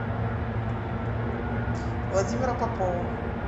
владимира попова